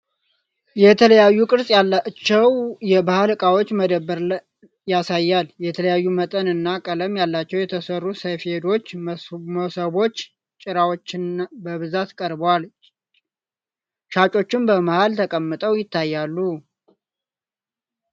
የተለያዩ ቅርጽ ያላቸው የባህል ዕቃዎች መደብር ያሳያል። የተለያዩ መጠን እና ቀለም ያላቸው የተሠሩ ሰፌዶች፣ መሶቦችና ጭራዎች በብዛት ቀርበዋል። ሻጮችም በመሀል ተቀምጠው ይታያሉ።